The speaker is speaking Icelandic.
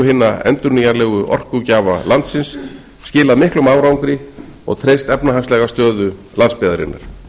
hinna endurnýjanlegu orkugjafa landsins skilað miklum árangri og treyst efnahagslega stöðu landsbyggðarinnar